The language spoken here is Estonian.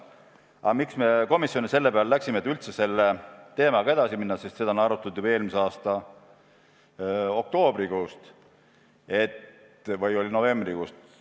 Aga miks me komisjonis selle peale läksime, et üldse selle teemaga edasi minna – seda on arutatud juba eelmise aasta oktoobrikuust või oli novembrikuust.